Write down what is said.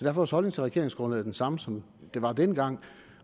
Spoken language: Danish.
er vores holdning til regeringsgrundlaget den samme som den var dengang